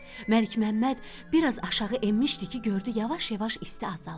Məlikməmməd biraz aşağı enmişdi ki, gördü yavaş-yavaş isti azalır.